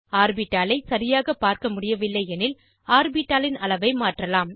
ஆர்பிட்டாலை சரியாக பார்க்க முடியவில்லை எனில் ஆர்பிட்டாலின் அளவை மாற்றலாம்